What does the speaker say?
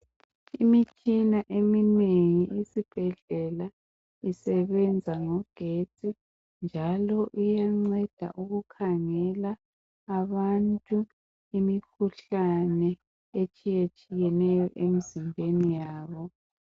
Imitshina eminengi esibhedlela isebenza ngo getsi njalo iyanceda uku khangela abantu imikhuhlane etshiya tshiyeneyo emzimbeni yabo.